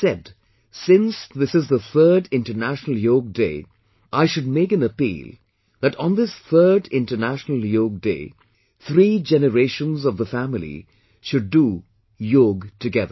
He has said since this is the Third International Yoga Day I should make an appeal that on this third international Yoga Day, three generations of the family should do yoga together